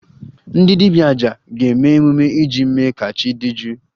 Ndị dibia 'aja' ga-eme emume iji mee ka chi dị jụụ